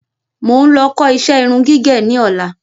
Mo ń lọ kó iṣẹ́ irun gígẹ̀ ní ọ̀la